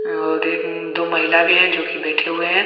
और एक दो महिला भी है जो की बैठे हुए हैं।